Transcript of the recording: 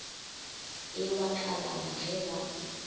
e wa kalana ge ba